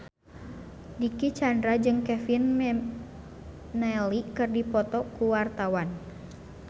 Dicky Chandra jeung Kevin McNally keur dipoto ku wartawan